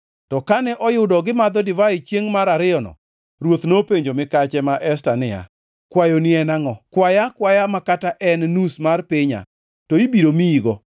to kane oyudo gimadho divai chiengʼ mar ariyono, ruoth nopenjo mikache ma Esta niya, “Kwayoni en angʼo? Kwaya akwaya ma kata ka en nus mar pinya to ibiro miyigo?”